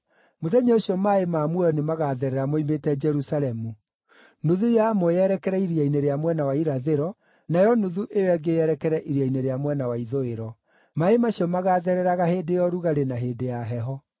Mũthenya ũcio maaĩ ma muoyo nĩmagatherera moimĩte Jerusalemu; nuthu yamo yerekere iria-inĩ rĩa mwena wa irathĩro, nayo nuthu ĩyo ĩngĩ yerekere iria-inĩ rĩa mwena wa ithũĩro. Maaĩ macio magathereraga hĩndĩ ya ũrugarĩ na hĩndĩ ya heho.